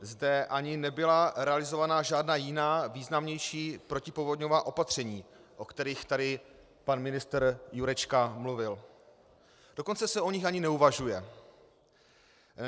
Zde ani nebyla realizována žádná jiná významnější protipovodňová opatření, o kterých tady pan ministr Jurečka mluvil, dokonce se o nich ani neuvažuje.